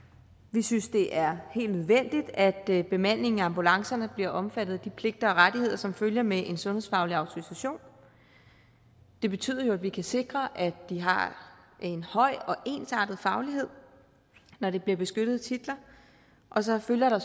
vi synes det er helt nødvendigt at bemandingen af ambulancerne bliver omfattet af de pligter og rettigheder som følger med en sundhedsfaglig autorisation det betyder jo at vi kan sikre at de har en høj og ensartet faglighed når det bliver beskyttede titler så følger der